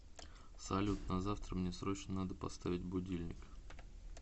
салют на завтра мне срочно надо поставить будильник